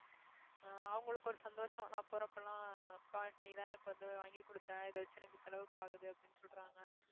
ஆஹ் அவங்களுக்கு ஒரு சந்தோஷம் நான் போறப்பெல்லாம் அப்பா நீதான் எனக்கு வந்து வாங்கி கொடுத்த இதை வச்சு எனக்கு செலவுக்கு ஆகுது அப்படின்னு சொல்றாங்க